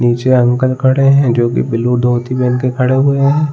नीचे अंकल खड़े हैं जो कि ब्लू धोती पहन के खड़े हुए हैं।